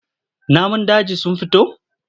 Namun dajin sun fito?